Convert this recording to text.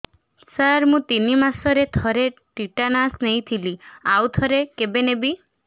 ସାର ମୁଁ ତିନି ମାସରେ ଥରେ ଟିଟାନସ ନେଇଥିଲି ଆଉ ଥରେ କେବେ ନେବି